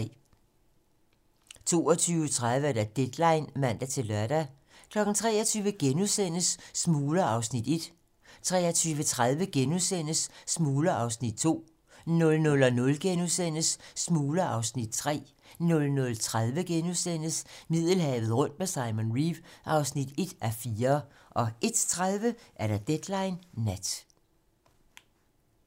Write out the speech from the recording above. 22:30: Deadline (man-lør) 23:00: Smugler (Afs. 1)* 23:30: Smugler (Afs. 2)* 00:00: Smugler (Afs. 3)* 00:30: Middelhavet rundt med Simon Reeve (1:4)* 01:30: Deadline nat